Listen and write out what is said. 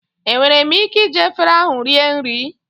Enwere m ike iji efere ahụ rie nri?